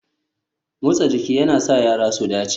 Motsa jiki yana sa yara su dace